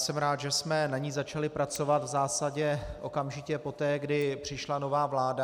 Jsem rád, že jsme na ní začali pracovat v zásadě okamžitě poté, kdy přišla nová vláda.